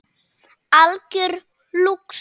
Algjör lúxus.